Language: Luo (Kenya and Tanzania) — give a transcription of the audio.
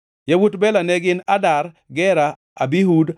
Yawuot Bela ne gin: Adar, Gera, Abihud,